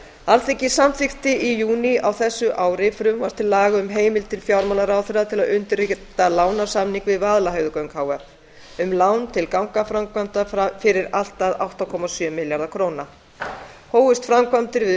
alþingi samþykkti í júní á þessu ári frumvarp til laga um heimild til fjármálaráðherra til að undirrita lánasamning við vaðlaheiðargöng h f um lán til gangaframkvæmda fyrir allt að átta komma sjö milljarða króna hófust framkvæmdir við